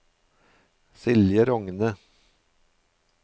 Silje Rogne